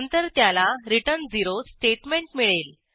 नंतर त्याला return 0 statement मिळेल